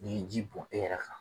N'i ye ji bɔn e yɛrɛ kan